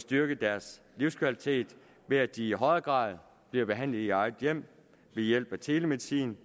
styrket deres livskvalitet ved at de i højere grad blev behandlet i eget hjem ved hjælp af telemedicin